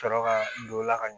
Sɔrɔ ka don o la ka